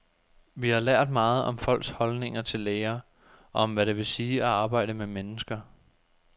Vi har lært meget om folks holdninger til læger, og om hvad det vil sige at arbejde med mennesker.